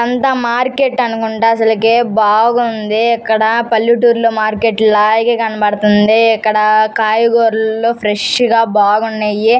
అంతా మార్కెట్ అనుకుంట అసలకే బాగుంది. ఇక్కడ పల్లెటూరి లో మార్కెట్ లాగే కనపడతంది. ఇక్కడ కాయగూరలు ఫ్రెస్ గా బాగున్నాయి.